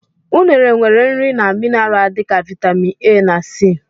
Unere nwere nri na minara dị ka viatamịn A na c.